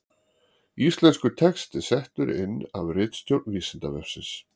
Íslenskur texti settur inn af ritstjórn Vísindavefsins.